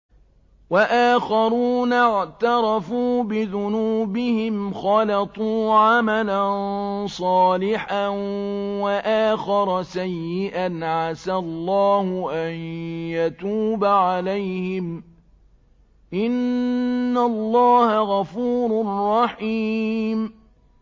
وَآخَرُونَ اعْتَرَفُوا بِذُنُوبِهِمْ خَلَطُوا عَمَلًا صَالِحًا وَآخَرَ سَيِّئًا عَسَى اللَّهُ أَن يَتُوبَ عَلَيْهِمْ ۚ إِنَّ اللَّهَ غَفُورٌ رَّحِيمٌ